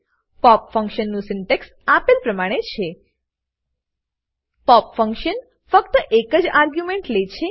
pop function નું syntax આપેલ પ્રમાણે છે પોપ ફંકશન ફક્ત એકજ આર્ગ્યુમેન્ટ લે છે